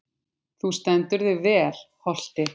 Þú stendur þig vel, Holti!